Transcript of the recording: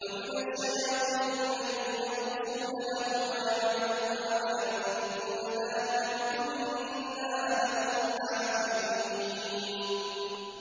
وَمِنَ الشَّيَاطِينِ مَن يَغُوصُونَ لَهُ وَيَعْمَلُونَ عَمَلًا دُونَ ذَٰلِكَ ۖ وَكُنَّا لَهُمْ حَافِظِينَ